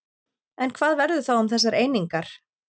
En hvað verður þá um þessar einingar?